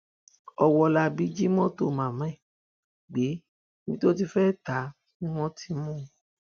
ọwọlabí jí mọtò màmá ẹ gbé ibi tó ti fẹẹ ta á ni wọn ti mú un